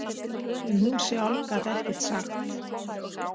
En hún sjálf gat ekkert sagt.